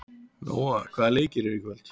Nóa, hvaða leikir eru í kvöld?